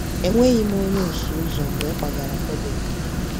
Enweghị m onye ọsụ ụzọ mgbe m kwagara Kwebek.